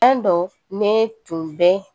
An don ne tun bɛ